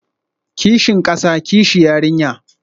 Kishin kasa, kishi yarinya